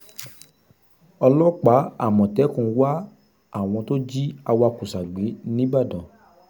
ọlọ́pàá àmọ̀tẹ́kùn ń wá àwọn tó jí awakùsà gbé níbàdàn